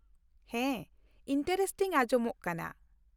ᱦᱮᱸ, ᱤᱱᱴᱟᱨᱮᱥᱴᱤᱝ ᱟᱸᱡᱚᱢᱚᱜ ᱠᱟᱱᱟ ᱾